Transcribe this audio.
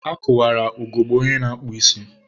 a kụwara ugogbe onye na-akpụ isi.